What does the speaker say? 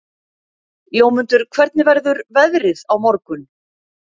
Jómundur, hvernig verður veðrið á morgun?